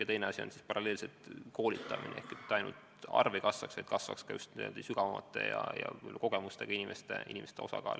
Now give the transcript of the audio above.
Ja teine eesmärk paralleelselt koolitamine: et mitte lihtsalt abistajate arv ei kasvaks, vaid kasvaks ka just suuremate kogemustega abistajate osakaal.